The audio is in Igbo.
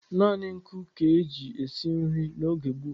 Naanị nkụ ka e ji esi nri n'oge gboo.